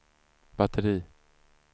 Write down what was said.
batteri